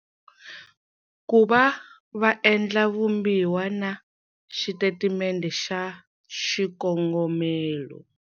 Ku va va endla vumbiwa xitatimende xa xikongomelo.